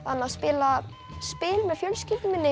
spila spil með fjölskyldunni minni